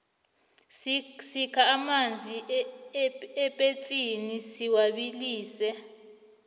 sikha amanzi epetsini siwabilise